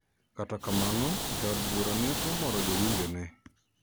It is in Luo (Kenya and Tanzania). Kata kamano, jaod burano ne omoro jowinjo ne